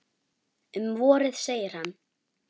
Um vorið, segir hann.